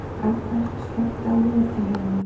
Hagbert, slökktu á niðurteljaranum.